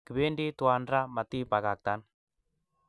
Kipend twan raa matinbakaktan